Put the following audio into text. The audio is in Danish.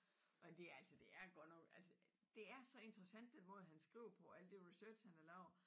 Og de altså det er godt nok altså det er så interessant den måde han skriver på alt det research han har lavet